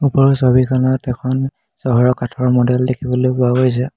ওপৰৰ ছবিখনত এখন চহৰৰ কাঠৰ মডেল দেখিবলৈ পোৱা গৈছে।